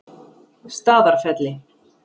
Staðarfelli